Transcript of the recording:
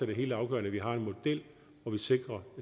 det helt afgørende at vi har en model hvor vi sikrer